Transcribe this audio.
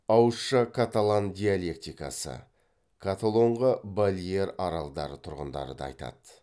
ауызша каталан диалектикасы каталонға балеар аралдары тұрғындары да айтады